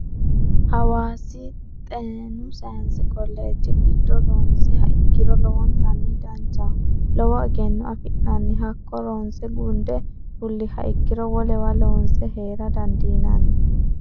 hawaasi xennu sayinse koleeje giddo ronsiha ikiro lowontanni danchaho lowo egenno afi'nanni hakko ronse gundde fuliha ikiro wolewa loonse heera dandiinanni.